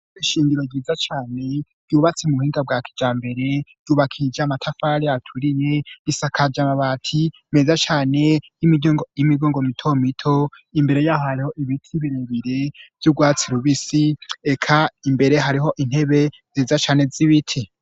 Ishure ryiza cane ryubatse mu buhinga bwa kijambere ryubakishij' amatafari aturiye yisakaja mabati meza cane y'imigongo mito mito imbere yaho hariho ibiti birebire vy'ubwatsi rubisi eka imbere hariho intebe ziza cane z'ibiti